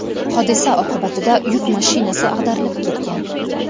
Hodisa oqibatida yuk mashinasi ag‘darilib ketgan.